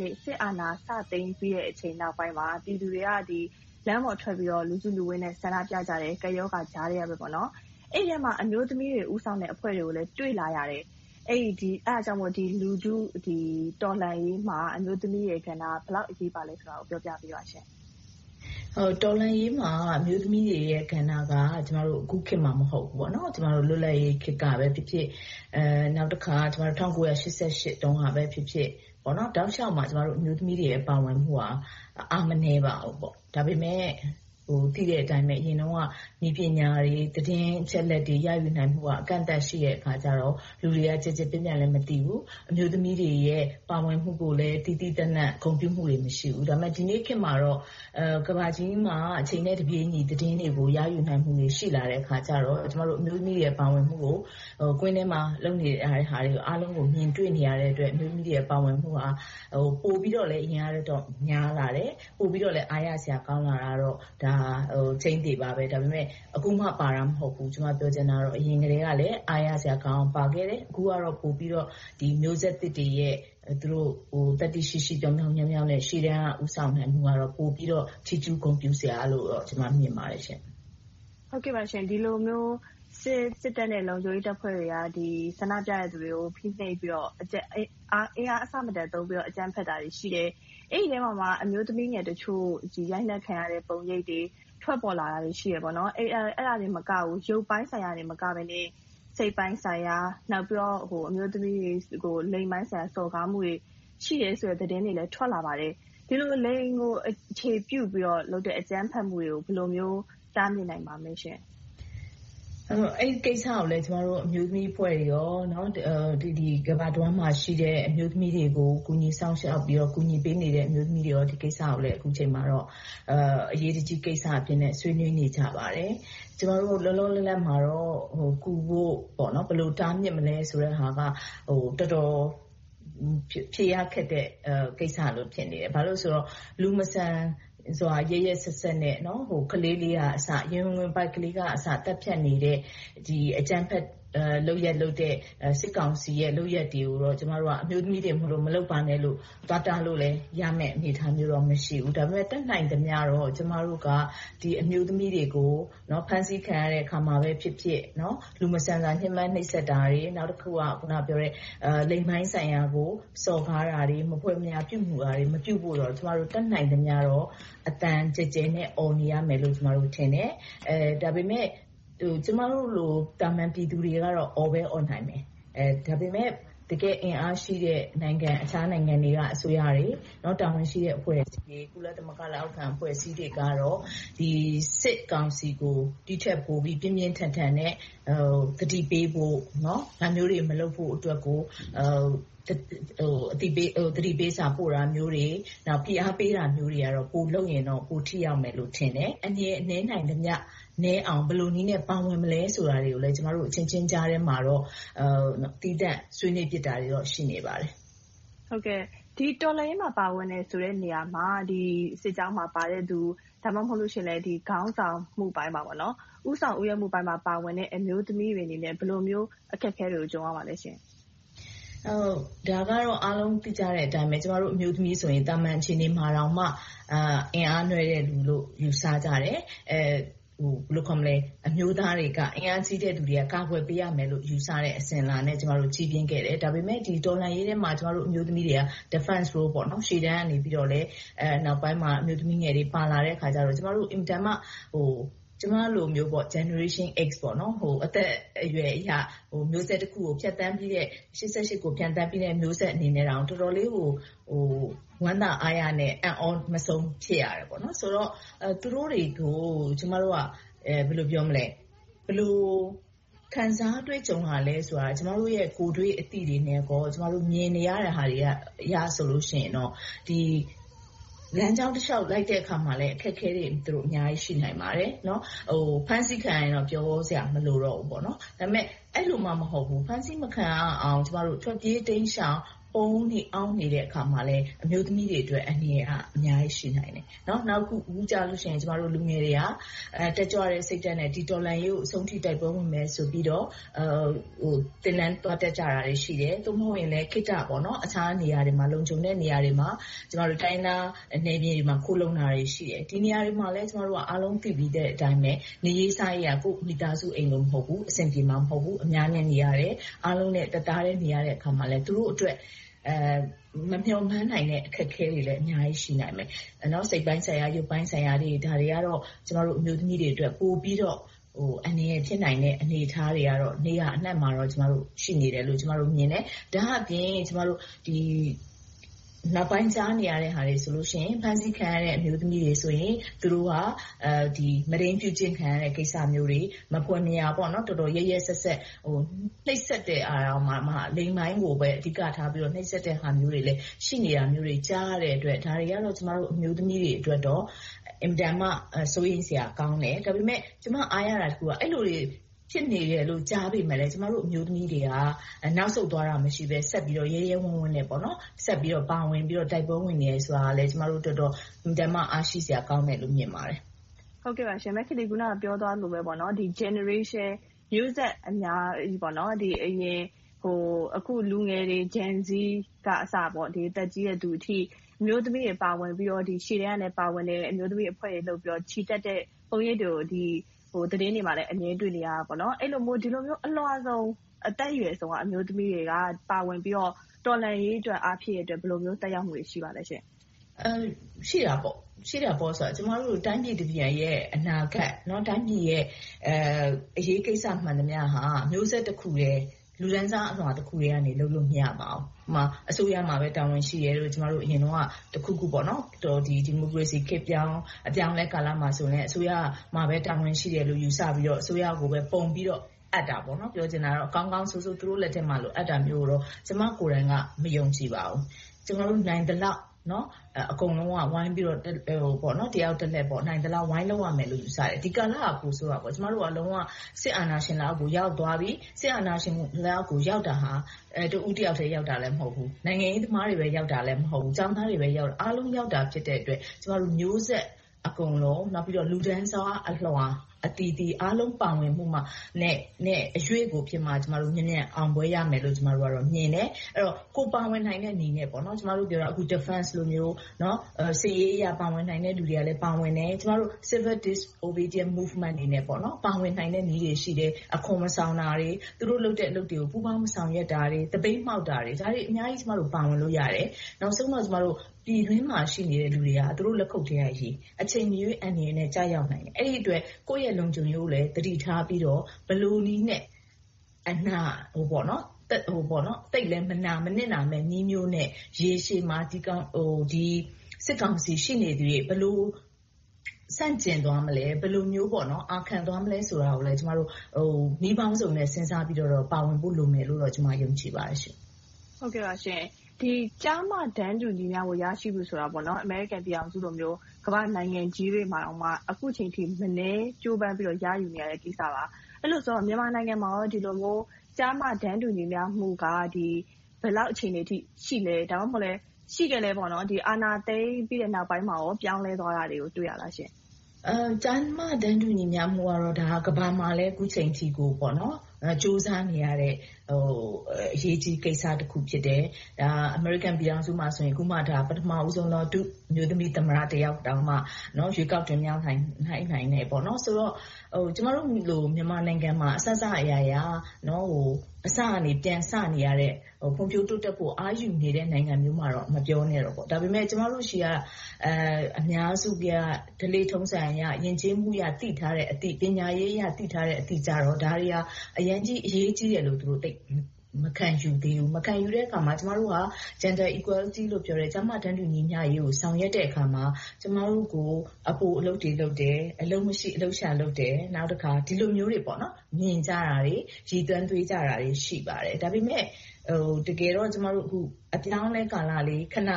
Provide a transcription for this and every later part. နေ့ စစ်အာဏာ စသိမ်းပြီးချိန်နောက်ပိုင်းမှာ ပြည်သူတွေက ကပ်ရောဂါကြားထဲကနေ လမ်းပေါ်ထွက်ပြီးတော့ လူစုလူဝေးနဲ့ ဆန္ဒပြကြတယ်။ အဲဒီအထဲမှာ အမျိုးသမီးတွေ ဦးဆောင်တဲ့အဖွဲ့တွေကိုလည်း တွေ့လာရတယ်။ အဲဒါကြောင့်မို့ လူထုတော်လှန်ရေးမှာ အမျိုးသမီးတွေရဲ့ကဏ္ဍ ဘယ်လောက်အရေးပါသလဲဆိုတာကို ပြောပြပေးပါရှင့်။ တော်လှန်ရေးမှာ အမျိုးသမီးတွေရဲ့ကဏ္ဍက အခုခေတ်မှ မဟုတ်ပါဘူး၊ လွတ်လပ်ရေးခေတ်ကပဲဖြစ်ဖြစ်၊ ၁၉၈၈ တုန်းကပဲဖြစ်ဖြစ် တောက်လျှောက်မှာ အမျိုးသမီးတွေရဲ့ ပါဝင်မှုက အားမနည်းပါဘူး။ ဒါပေမဲ့ သိတဲ့အတိုင်းပဲ အရင်တုန်းက နည်းပညာတွေ၊ သတင်းအချက်အလက်တွေ ရယူနိုင်မှုက အကန့်အသတ်ရှိနေတဲ့အခါကြတော့ လူတွေက ချက်ချင်းလက်ငင်း မသိကြဘူး။ အမျိုးသမီးတွေရဲ့ ပါဝင်မှုကိုလည်း သီးသီးသန့်သန့် ဂုဏ်ပြုမှုတွေလည်း မရှိဘူး။ ဒါပေမဲ့ ဒီနေ့ခေတ်မှာတော့ ကမ္ဘာကြီးမှာ အချိန်နဲ့တပြေညီ သတင်းတွေကို ရယူနိုင်မှုတွေ ရှိလာတဲ့အခါကြတော့ ကျမတို့ အမျိုးသမီးတွေရဲ့ ပါဝင်မှုကို ကွင်းထဲမှာ လုပ်နေတဲ့လှုပ်ရှားမှုတွေကို မြင်တွေ့နေရတဲ့အတွက် အမျိုးသမီးတွေရဲ့ ပါဝင်မှုက ပိုပြီးတော့လဲ အရင်ကထက်များလာတယ်။ ပိုပြီးတော့လဲ အားရစရာကောင်းလာတာတော့ ဟုတ်ပါတယ်။ ဒါပေမဲ့ အခုမှပါတာ မဟုတ်ဘူး၊ အရင်ကတည်းကလည်း အားရစရာကောင်းအောင် ပါဝင်ခဲ့တယ်။ အခုကတော့ မျိုးဆက်သစ်တွေရဲ့ သတ္တိရှိရှိ၊ ပြောင်ပြောင်မြောက်မြောက်နဲ့ ရှေ့တန်းက ဦးဆောင်နေမှုကတော့ ပိုပြီးတော့ ချီးကျူးဂုဏ်ပြုစရာလို့တော့ ကျမ မြင်ပါတယ်ရှင့်။ ဒီလိုမျိုး စစ်တပ်နဲ့ လုံခြုံရေးတပ်ဖွဲ့တွေက ဆန္ဒပြသူတွေကို အင်အားအဆမတန်သုံးပြီးတော့ အကြမ်းဖက်တာတွေရှိတယ်။ အဲဒီအထဲမှာမှ အမျိုးသမီးငယ်တချို့ ရိုက်နှက်ခံရတဲ့ပုံရိပ်တွေ ထွက်ပေါ်လာတာတွေ ရှိတယ်။ အဲဒါတင်မကဘူး၊ ရုပ်ပိုင်းဆိုင်ရာသာမကဘဲ၊ စိတ်ပိုင်းဆိုင်ရာ။ နောက်ပြီးတော့ အမျိုးသမီးတွေ လိင်ပိုင်ဆိုင်ရာ စော်ကားမှုတွေ ရှိနေတယ်ဆိုတဲ့ သတင်းတွေလည်း ထွက်လာပါတယ်။ ဒီလိုမျိုး လိင်ကိုအခြေပြုပြီးတော့ လုပ်တဲ့အကြမ်းဖက်မှုတွေကို ဘယ်လိုမျိုး တားမြစ်နိုင်ပါမလဲရှင့်။ အဲဒီကိစ္စကို ကျမတို့ အမျိုးသမီးအဖွဲ့တွေနဲ့ ကမ္ဘာတဝှမ်းမှာရှိတဲ့ အမျိုးသမီးတွေကို ကူညီစောင့်ရှောက်၊ ကူညီပေးနေတဲ့ အမျိုးသမီးတွေက ဒီကိစ္စကို အခုအချိန်မှာတော့ အရေးတကြီးကိစ္စအဖြစ်နဲ့ ဆွေးနွေးနေကြပါတယ်။ ကျမတို့ လောလောလတ်လတ်မှာတော့ ကူဖို့၊ ဘယ်လိုတားမြစ်မလဲဆိုတဲ့ဟာက တော်တော်ဖြေရခက်တဲ့ ကိစ္စလို ဖြစ်နေပါတယ်။ ဘာဖြစ်လို့လဲဆိုတော့ လူမဆန်စွာ ရက်ရက်စက်စက်နဲ့ ရင်ဝယ်ပိုက်ကလေးလေးကအစ သတ်ဖြတ်နေတဲ့ အကြမ်းဖက်လုပ်နေတဲ့ စစ်ကောင်စီရဲ့ လုပ်ရပ်တွေကို ကျမတို့ အမျိုးသမီးတွေမို့ မလုပ်ပါနဲ့လို့ သွားတားလို့ရမယ့် အနေအထားတော့ မရှိဘူး။ ဒါပေမဲ့ တတ်နိုင်သမျှတော့ ကျမတို့က ဒီအမျိုးသမီးတွေကို ဖမ်းဆီးခံရတဲ့အခါမှာပဲဖြစ်ဖြစ်၊ လူမဆန်စွာ ညဉ်းပမ်းနှိပ်စက်တာရယ်၊ နောက်တခုက လိင်ပိုင်ဆိုင်ရာ စော်ကားတာတွေ၊ မဖွယ်မရာပြုမှုရာတွေ မပြုမှုဖို့ကို ကျမတို့ တတ်နိုင်သမျှ အသံကျယ်ကျယ်နဲ့ အော်နေရမယ်လို့ ထင်တယ်။ ဒါပေမဲ့ ကျမတို့လို သာမန်ပြည်သူတွေကတော့ အော်ပဲအော်နိုင်တယ်။ ဒါပေမဲ့ တကယ့်အင်အားရှိတဲ့ အခြားနိုင်ငံတွေက အစိုးရတွေ၊ တာဝန်ရှိတဲ့အဖွဲ့အစည်းတွေ၊ ကုလသမဂ္ဂ လက်အောက်ခံအဖွဲ့အစည်းတွေကတော့ စစ်ကောင်စီကို ဒီထက်ပိုပြီး ပြင်းပြင်းထန်ထန်နဲ့ သတိပေးဖို့၊ ဒါမျိုးတွေ မလုပ်ဖို့အတွက်ကို သတိပေးစာ ပို့တာမျိုးတွေ၊ ဖိအားပေးတာမျိုးတွေကတော့ ပိုလုပ်ရင်တော့ ပိုထိရောက်မယ်လို့ ထင်တယ်။ အန္တရာယ်နည်းနိုင်သမျှနည်းအောင် ဘယ်လိုနည်းနဲ့ ပါဝင်မလဲဆိုတာတွေကိုလည်း ကျမတို့အချင်းချင်းကြားထဲမှာတော့ သီးသန့်ဆွေးနွေးဖြစ်တာတွေတော့ ရှိနေပါတယ်။ ဒီတော်လှန်ရေးမှာ ပါဝင်တယ်ဆိုတဲ့နေရာမှာ စစ်ကြောင်းမှာပါဝင်တဲ့လူ၊ ဒါမှမဟုတ် ခေါင်းဆောင်မှုပိုင်းမှာ ဦးဆောင်ဦးရွက်ပါဝင်တဲ့ အမျိုးသမီးတွေအနေနဲ့ ဘယ်လိုမျိုး အခက်အခဲတွေကို ကြုံရပါလဲရှင့်။ ဒါကတော့ အားလုံးသိကြတဲ့အတိုင်းပဲ ကျမတို့ အမျိုးတွေဆိုရင် သာမန်အခြေအနေမှာတောင် အင်အားနွှဲ့တဲ့လူလို့ ယူဆကြတယ်။ အမျိုးသားတွေ အင်အားကြီးသူတွေက ကာကွယ်ပေးရမယ့် ယူဆတဲ့ အစဉ်အလာနဲ့ ကျမတို့ ကြီးပြင်းခဲ့တယ်။ ဒါပေမဲ့ ဒီတော်လှန်ရေးထဲမှာ ကျမတို့ အမျိုးသမီးတွေက Defense Role ရှေ့တန်းကနေ နောက်ပိုင်းမှာ အမျိုးသမီးငယ်တွေ ပါလာတဲ့အခါကြတော့ ကျမလိုမျိုး Generation X အသက်အရွယ်အရ မျိုးဆက်တခုကို ဖြတ်သန်းပြီးတဲ့ ရှစ်ဆယ့်ရှစ်ကို ဖြတ်သန်းခဲ့တဲ့ မျိုးဆက်အနေနဲ့တောင် တော်တော်လေးကို ဝမ်းသာအားရနဲ့ အံ့သြမဆုံး ဖြစ်ရတယ်။ ဆိုတော့ သူတို့တွေကို ကျမတို့က ဘယ်လိုခံစားတွေ့ကြုံရလဲဆိုတာကို ကျမတို့ရဲ့ ကိုယ့်တွေ့အသိတွေနဲ့ မြင်နေရတဲ့ဟာတွေအရဆိုရင် ဒီလမ်းကြောင်းတလျှောက် လိုက်တဲ့အခါမှာလည်း အခက်အခဲတွေ အများကြီးရှိနိုင်ပါတယ်။ ဖမ်းဆီးခံရရင်တော့ ပြောစရာမလိုတော့ဘူး။ ဒါပေမဲ့ အဲဒီလိုမှမဟုတ်ဘူး။ ဖမ်းဆီးမခံရအောင် ထွက်ပြေးတိမ်းရှောင်၊ ပုန်နေအောင်းနေတဲ့အခါမှာလည်း အမျိုးသမီးတွေအတွက် အန္တရာယ်က အများကြီး ရှိနိုင်တယ်။ အခု လူငယ်တွေက တက်ကြွတဲ့စိတ်ဓါတ်နဲ့ ဒီတော်လှန်ရေးကို အဆုံးထိ တိုက်ပွဲဝင်မယ်ဆိုပြီးတော့ သင်တန်းသွားတက်ကြတာတွေ ရှိတယ်။ သို့မဟုတ်ရင် ခေတ္တအခြားနေရာတွေမှာ လုံခြုံတဲ့နေရာတွေမှာ၊ တိုင်းရင်းသားနယ်မြေတွေမှာ ခိုလှုံတာတွေ ရှိတယ်။ ဒီနေရာတွေမှာလဲ အားလုံးသိပြီးတဲ့အတိုင်းပဲ နေရေးစားရေးက ကိုယ့်အိမ်မှာလို မဟုတ်ဘူး။ အဆင်ပြေမှာ မဟုတ်ဘူး။ အများနဲ့နေရတယ်။ အားလုံးနဲ့ တသားတည်း နေရတဲ့အခါမှာလည်း သူတို့အတွက် မမျှော်မှန်းနိုင်တဲ့ အခက်အခဲတွေလည်း အများကြီးရှိနိုင်မယ်။ စိတ်ပိုင်းဆိုင်ရာ၊ ရုပ်ပိုင်းဆိုင်ရာတွေ ဒါတွေကတော့ ကျမတို့ အမျိုးသမီးတွေအတွက် ပိုပြီးတော့ အန္တရာယ်ဖြစ်နိုင်တဲ့ အနေအထားတွေကတော့ နေရာအနံှမှာတော့ ရှိနေတယ်လို့ ကျမတို့မြင်တယ်။ ဒါ့အပြင် နောက်ပိုင်းကြားနေရတာတွေက ဖမ်းဆီးခံရတဲ့ အမျိုးသမီးတွေဆိုရင် သူတို့ကို မုဒိမ်းပြုကျင့်ခံတဲ့ ကိစ္စမျိုးတွေ။ မဖွယ်မရာ တော်တော်လေး ရက်ရက်စက်စက်၊ နှိပ်စက်တဲ့နေရာမှာတောင် လိင်ပိုင်းကိုပဲ အဓိကထား နှိပ်စက်တဲ့ဟာတွေလည်း ရှိနေတာမျိုးတွေ ကြားရတဲ့အတွက် ဒါတွေကတော့ ကျမတို့ အမျိုးသမီးတွေအတွက်တော့ အင်မတန်မှ စိုးရိမ်စရာကောင်းတယ်။ ဒါပေမဲ့ ကျမ အားရတာတခုကတော့ အဲဒီလို ဖြစ်နေတယ်လို့ ကြားပေမယ့်လဲ ကျမတို့ အမျိုးသမီးတွေက နောက်ဆုတ်သွားတာမျိုး မရှိဘဲ။ ရဲရဲဝံ့ဝံ့နဲ့ ဆက်ပြီးတော့ ပါဝင်ပြီးတော့ တိုက်ပွဲဝင်နေတယ်ဆိုတာလဲ ကျမတို့အတွက်တော့ အင်မတန်မှ အားရှိစရာကောင်းတယ်လို့ မြင်ပါတယ်။ မခင်လေး အခုနပြောသွားသလိုပဲ Generations မျိုးဆက်အများစု အရင်နဲ့ အခု Gen Z က အစ အသက်ကြီးတဲ့လူအထိ အမျိုးသမီးတွေ ရှေ့တန်းကနေ ပါဝင်ပြီး ချီတက်ကြတဲ့ ပုံရိပ်တွေကို သတင်းတွေမှာလဲ အမြဲတွေ့နေရတယ်။ ဒီလိုမျိုး အလွှာစုံ အသက်အရွယ်စုံက အမျိုးသမီးတွေက ပါဝင်ပြီးတော့ တော်လှန်ရေးအတွက် အားဖြည့်တဲ့အတွက် ဘယ်လိုမျိုး သက်ရောက်မှုတွေ ရှိပါသလဲရှင့်။ ရှိတာပေါ့။ ကျမတို့ တိုင်းပြည်တပြည်ရဲ့ အနာဂတ်၊ တိုင်းပြည်ရဲ့ အရေးကိစ္စ မှန်သမျှဟာ မျိုးဆက်တခု၊ လူတန်းစားအလွှာတခုကနေ လုပ်လို့မရဘူး။ ဥပမာ အစိုးရမှာပဲ တာဝန်ရှိတယ်လို့ ကျမတို့ အရင်တုန်းက တခုခုပေါ့ - ဒီမိုကရေစီခေတ်ပြောင်း အပြောင်းအလဲကာလမှာလဲ အစိုးရမှာပဲ တာဝန်ရှိတယ်လို့ ယူဆပြီးတော့ အစိုးရကိုပဲ ပုံချပြီးတော့ အပ်တာပေါ့။ ပြောချင်တာက ကောင်းကောင်းဆိုးဆိုး သူတို့လက်ထဲမှာ အပ်တာမျိုးကိုတော့ ကျမကိုယ်တိုင်က မယုံကြည်ပါဘူး။ ကျမတို့ နိုင်သလောက်၊ အကုန်လုံးက ဝိုင်းပြီးတော့၊ တယောက်တလှဲ့ နိုင်သလောက် ဝိုင်းလုပ်ရမယ်လို့ ယူဆပါတယ်။ ဒီကာလက ပိုဆိုးတာပေါ့။ ကျမတို့က လုံးဝစစ်အာဏာရှင် လက်အောက်ကို ရောက်သွားပြီ။ စစ်အာဏာရှင်လက်အောက်ကို ရောက်တာဟာ တဦးတယောက်ထဲပဲ ရောက်တာမဟုတ်ဘူး။ နိုင်ငံရေးသမားတွေပဲ ရောက်တာ မဟုတ်ဘူး။ ကျောင်းသားပဲ ရောက်တာမဟုတ်ဘူး။ အားလုံးရောက်သွားတာ ဖြစ်တဲ့အတွက် ကျမတို့ မျိုးဆက်အကုန်လုံး၊ လူတန်းစားအလွှာအသီးသီး၊ အားလုံးပါဝင်မှုနဲ့ အရွေ့ကိုဖြစ်မှ မြန်မြန်အောင်ပွဲရမယ်လို့ မြင်တယ်။ အဲဒီတော့ ကိုယ်ပါဝင်နိုင်တဲ့နည်းနဲ့ အခုနပြောသလို Defense လိုမျိုး၊ စစ်ရေးအရ ပါဝင်နိုင်တဲ့လူတွေကလည်း ပါဝင်တယ်။ ပြီးတော့ Civil Disobedience Movement အနေနဲ့ ပါဝင်နိုင်တဲ့နည်းတွေ ရှိတယ်။ အခွန်မဆောင်တာတွေ။ သူတို့လုပ်တဲ့ အလုပ်တွေကို မပူးပေါင်း၊ မဆောင်ရွက်တာတွေ။ သပိတ်မှောက်တာတွေ။ ဒါတွေအများကြီး ကျမတို့ ပါဝင်လို့ရတယ်။ နောက်ဆုံးတော့ ပြည်တွင်းမှာ ရှိနေတဲ့ လူတွေက သူတို့လက်ခုပ်ထဲကရေ။ အချိန်မရွေး အန္တရာယ်နဲ့ ကျရောက်နိုင်တယ်။ အဲဒီအတွက် ကိုယ့်ရဲ့လုံခြုံရေးကိုလဲ သတိထားပြီးတော့ ဘယ်လိုနည်းနဲ့ သိပ်ပြီးမနစ်နာမယ့် နည်းမျိုးနဲ့ ရေရှည်မှာ စစ်ကောင်စီ ရှိနေသရွေ့ ဆန့်ကျင်သွားမလဲ။ ဘယ်လိုမျိုး အာခံသွားမလဲဆိုတာကိုလည်း ကျမတို့ နည်းပေါင်းစုံနဲ့ စဉ်းစားပြီးတော့ ပါဝင်ဖို့ လိုမယ်လို့တော့ ကျမ ယုံကြည်ပါတယ်ရှင့်။ ကျား-မ တန်းတူရရှိဖို့ဆိုတာ အမေရိကန်ပြည်ထောင်စုလို၊ ကမ္ဘာ့နိုင်ငံကြီးတွေမှာတောင် အခုအချိန်အထိ မနည်းကြိုးပမ်းပြီးတော့ ရယူနေရတဲ့ကိစ္စပါ။ အဲဒီလိုဆိုတော့ မြန်မာနိုင်ငံမှာကော ဒီလိုမျိုး ကျား-မ တန်းတူညီမျှမှုက ဘယ်လောက် အခြေအနေအထိ ရှိလဲ။ ဒါမှမဟုတ် အာဏာသိမ်းပြီးနောက်ပိုင်းမှာ ပြောင်းလဲသွားတာတွေကို တွေ့ရပါသလားရှင့်။ ကျား-မ တန်းတူညီမျှမှုကတော့ ကမ္ဘာမှာလဲ အခုအချိန်အထိကို ကြိုးစားနေရတဲ့ အရေးကြီးတဲ့ကိစ္စတခု ဖြစ်တယ်။ အမေရိကန်ပြည်ထောင်စုမှာဆို အခုမှ ပထမဦးဆုံး အမျိုးသမီး ဒုသမ္မတတောင်မှ ရွေးကောက်တင်မြှောက်နိုင်တယ်။ ဆိုတော့ ကျမတို့လို မြန်မာနိုင်ငံမှာ အစစအရာရာ၊ အစကနေ ပြန်စနေရတဲ့ ဖွံ့ဖြိုးတိုးတက်မှု အားယူနေတဲ့ နိုင်ငံမျိုးမှာတော့ မပြောနဲ့တော့။ ဒါပေမဲ့ ကျမတို့ဆီက အများစု၊ ဓလေ့ထုံးစံအရ ယဉ်ကျေးမှုအရ သိထားတဲ့အသိ၊ ပညာရေးအရ သိထားတဲ့အသိတွေက ဒါတွေက အရမ်းကြီးအရေးကြီးတယ်လို့ သူတို့သိ၊ မခံယူသေးဘူး။ မခံယူတဲ့အခါမှာ ကျမတို့က Gender Equality လို့ ပြောတယ်။ ကျား-မ တန်းတူညီမျှရေးကို ဆောင်ရွက်တဲ့အခါမှာ ကျမတို့ကို အပိုအလုပ်တွေလုပ်တယ်။ အလုပ်မရှိ အလုပ်ရှာလုပ်တယ်။ နောက်တခါ ဒီလိုမျိုးတွေ မြင်ကြတာတွေ၊ ရည်သွမ်းသွေးကြတာတွေ ရှိကြတယ်။ ဒါပေမဲ့ တကယ်တော့ ကျမတို့ အပြောင်းအလဲကာလလေး၊ ခဏ နှ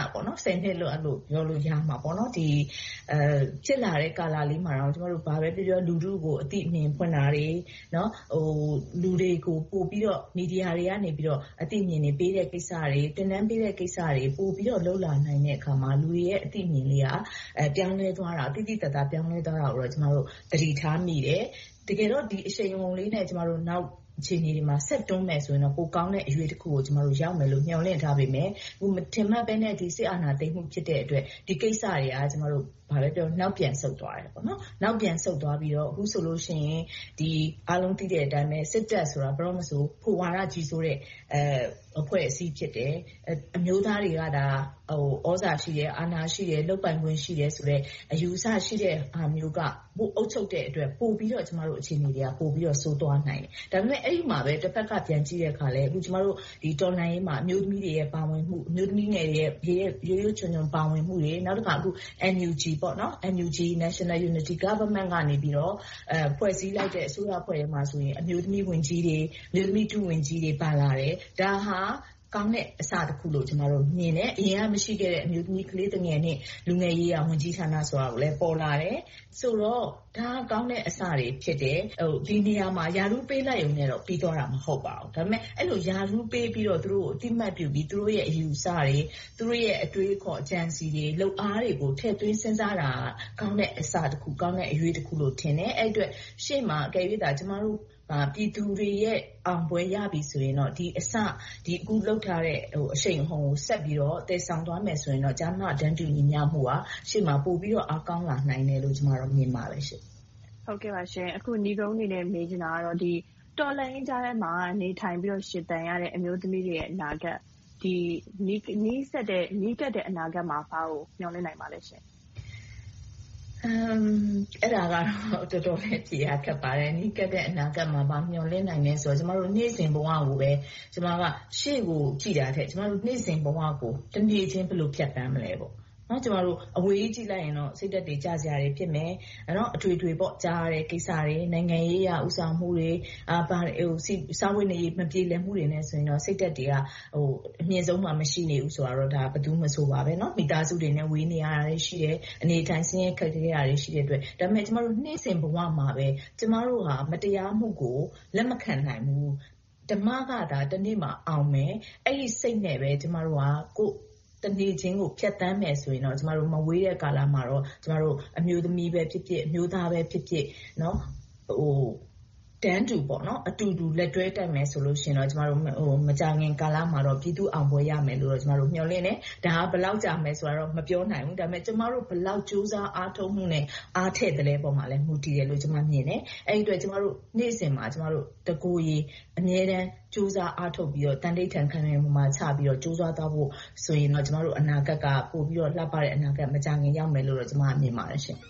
စ်လို့ ပြောလို့ရမှာပေါ့။ ဖြစ်လာတဲ့ ကာလလေးမှာတောင် ကျမတို့ ဘာပဲပြောပြော လူထုကို အသိအမြင် ဖွင့်တာတွေ၊ လူတွေကို ပိုပြီးတော့ မီဒီယာတွေကနေ အသိအမြင်တွေ ပေးတဲ့ကိစ္စတွေ၊ သင်တန်းပေးတဲ့ ကိစ္စတွေ ပိုပြီးတော့ လုပ်လာနိုင်တဲ့အခါမှာ လူတွေရဲ့ အသိအမြင်တွေက သိသိသာသာ ပြောင်းလဲသွားတာကိုတော့ သတိထားမိတယ်။ တကယ်တော့ ဒီအရှိန်အဟုန်လေးနဲ့ ကျမတို့ နောက်အခြေအနေတွေမှာ ဆက်တွန်းမယ်ဆိုရင်တော့ ပိုကောင်းမယ့်အရွေ့တခုကို ကျမတို့ ရောက်မယ်လို့ မျှော်လင့်ထားခဲ့ပေမယ့် အခုမထင်မှတ်ဘဲနဲ့ စစ်အာဏာသိမ်းမှု ဖြစ်ခဲ့တဲ့အတွက် ဒီကိစ္စတွေက ဘာပဲပြောပြော နောက်ပြန်ဆုတ်သွားတယ်။ နောက်ပြန်ဆုတ်သွားပြီးတော့ အခုဆိုလို့ရှိရင် အားလုံးသိတဲ့အတိုင်း စစ်တပ်ဆိုတာ ဘယ်တော့မဆို ဖိုဝါဒ ကြီးစိုးတဲ့ အဖွဲ့အစည်း ဖြစ်တယ်။ အမျိုးသားတွေက သြဇာရှိတယ်။ အာဏာရှိတယ်၊ လုပ်ပိုင်ခွင့်ရှိတယ်ဆိုတဲ့ အယူအဆရှိတဲ့ဟာမျိုးက ပိုအုပ်ချုပ်တဲ့အတွက် ပိုပြီးတော့ အခြေအနေတွေက ပိုဆိုးသွားနိုင်တယ်။ ဒါပေမဲ့ အဲဒီမှာပဲ တဘက်ကနေ ပြန်ကြည့်တဲ့အခါမှာ ကျမတို့ တော်လှန်ရေးမှာ အမျိုးသမီးတွေရဲ့ ပါဝင်မှု၊ အမျိုးသမီးငယ်တွေရဲ့ ရွပ်ရွပ်ချွံချွံ ပါဝင်မှုတွေ၊ နောက်တခါ အခု NUG – National Unity Government ကနေ ဖွဲ့စည်းလိုက်တဲ့ အစိုးရအဖွဲ့ထဲမှာဆိုရင် အမျိုးသမီးဝန်ကြီးတွေ၊ အမျိုးသမီး ဒုဝန်ကြီးတွေ ပါလာတယ်။ ဒါဟာ ကောင်းတဲ့အစတခုလို့ ကျမတို့ မြင်တယ်။ အရင်က မရှိခဲ့တဲ့ အမျိုးသမီး၊ ကလေးသူငယ်နဲ့ လူငယ်ရေးရာဝန်ကြီးဌာနဆိုတာလဲ ပေါ်လာတယ်။ ဆိုတော့ ဒါက ကောင်းတဲ့အစတွေ ဖြစ်တယ်။ ဒီနေရာမှာ ရာထူးပေးလိုက်ရုံနဲ့တော့ ပြီသွားတာ မဟုတ်ပါဘူး။ ဒါပေမဲ့ အဲဒီလို ရာထူးပေးပြီးတော့ သူတို့ကို အသိအမှတ်ပြုပြီး၊ သူတို့ရဲ့ အယူအဆတွေ၊ အတွေးအခေါ်တွေ၊ အကြံအစည်း၊ လုပ်အားတွေကို ထည့်သွင်းစဉ်းစားတာ ကောင်းတဲ့အစတခု၊ ကောင်းတဲ့အရွေ့တခုလို့ ထင်တယ်။ အဲဒီအတွက် ရှေ့မှာသာ ကျမတို့က ပြည်သူတွေရဲ့ အောင်ပွဲရပြီဆိုရင် အခုလုပ်ထားတဲ့ အရှိန်အဟုန်ကို ဆက်ပြီးတော့ သယ်ဆောင်သွားမယ်ဆိုရင်တော့ ကျား-မ တန်းတူညီမျှမှုဟာ ရှေ့မှာပိုပြီးတော့ အားကောင်းလာနိုင်မယ်လို့ မြင်ပါတယ်ရှင့်။ နိဂုံးအနေနဲ့ မေးချင်တာကတော့ တော်လှန်ရေးကြားထဲမှာ နေထိုင်ပြီးတော့ ရှင်သန်ရတဲ့ အမျိုးသမီးတွေရဲ့ အနာဂတ်၊ နီးစပ်တဲ့ အနာဂတ်မှာ ဘာကိုမျှော်လင့်နိုင်ပါသလဲရှင့်။ အဲဒါကတော့ တော်တော်လေး ဖြေရခက်ပါတယ်။ နီးကပ်တဲ့ အနာဂတ်မှာ ဘာမျှော်လင့်နိုင်သလဲဆိုတော့ နေ့စဉ်ဘဝကိုပဲ ရှေ့ကိုကြည့်တာထက်၊ နေ့စဉ်ဘဝကို တနေ့ချင်း ဘယ်လိုဖြတ်သန်းမလဲ။ အဝေးကြီး ကြည့်လိုက်ရင်တော့ စိတ်ဓါတ်တွေ ကျစရာတွေ ဖြစ်မယ်။ အထွေထွေ ကြားရတဲ့ကိစ္စတွေ။ နိုင်ငံရေးအရ ဦးဆောင်မှုတွေ။ စားဝတ်နေရေး မပြေလည်မှုတွေနဲ့ဆိုရင်တော့ စိတ်ဓါတ်တွေက အမြင့်ဆုံးမှာ မရှိနေဘူးဆိုတာကတော့ ဘယ်သူမဆိုပါဘဲ။ မိသားစုတွေနဲ့ ဝေးနေရတာတွေ ရှိတယ်။ အနေအထိုင် ဆင်းရဲခက်ခဲတာတွေ ရှိတဲ့အတွက်။ ဒါပေမဲ့ နေ့စဉ်ဘဝမှာပဲ ကျမတို့ဟာ မတရားမှုကို လက်မခံနိုင်ဘူး။ ဓမ္မကသာ တနေ့မှာအောင်မယ်။ အဲဒီစိတ်နဲ့ပဲ ကျမတို့ တနေ့ချင်းကို ဖြတ်သန်းမယ်ဆိုရင်တော့ မဝေးတဲ့ကာလမှာတော့ ကျမတို့ အမျိုးသမီးပဲဖြစ်ဖြစ်၊ အမျိုးသားပဲဖြစ်ဖြစ် တန်းတူ၊ အတူတူလက်တွဲ တက်မယ်ဆိုရင်တော့ မကြာခင်ကာလမှာ ပြည်သူ့အောင်ပွဲရမယ်လို့ ကျမတို့ မျှော်လင့်တယ်။ ဒါက ဘယ်လောက်ကြာမလဲဆိုတာတော့ မပြောနိုင်ဘူး။ ဒါပေမဲ့ ကျမတို့ ကြိုးစားအားထုတ်မှုနဲ့ အားထည့်သလဲပေါ်မှာလဲ မူတည်တယ်လို့ ကျမမြင်တယ်။ အဲဒီအတွက် ကျမတို့ နေ့စဉ်မှာ တကိုယ်ရည် အမြဲတမ်းကြိုးစားအားထုတ်ပြီးတော့ သံဓိဌာန်းခိုင်ခိုင်မာမာချပြီးတော့ ကြိုးစားသွားမယ်ဆိုရင်တော့ ကျမတို့ အနာဂတ်က ပိုပြီးတော့ လှပတဲ့အနာဂတ် မကြာခင်ရောက်မယ်လို့ ကျမ မြင်ပါတယ်ရှင့်